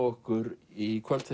okkur í kvöld